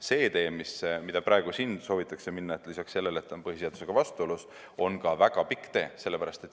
See tee, mida siin praegu soovitakse minna, on lisaks sellele, et see on põhiseadusega vastuolus, ka väga pikk tee.